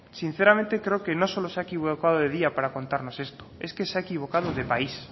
sinceramente creo que no solo se ha equivocado de día para contarnos esto es que se ha equivocado de país